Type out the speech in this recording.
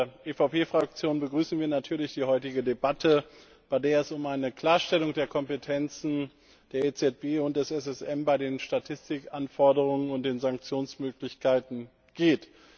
Als EVP Fraktion begrüßen wir natürlich die heutige Debatte, bei der es um eine Klarstellung der Kompetenzen der EZB und des SSM bei den Statistikanforderungen und den Sanktionsmöglichkeiten geht.